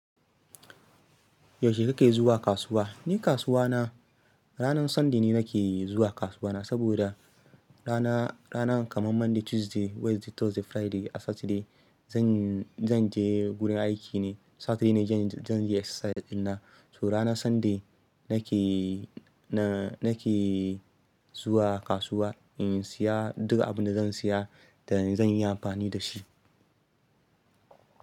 Yaushe kake zuwa kasuwa? Ni kasuwa na ranan Sunday ni nake zuwa kasuwa na. Saboda rana, ranan kamar Monday, Tuesday, Wednesday, Thursday, Friday da Saturday zan, zan je wurin aiki ne. Saturday ne zan je exercise dinnan. To rana Sunday nake, na nake zuwa kasuwa in siya duka abin da zan siya da zan yi amfani da shi.